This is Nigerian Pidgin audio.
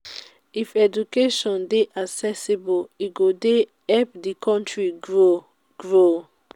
if education dey accessible e go dey help di country grow. grow.